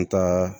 An ka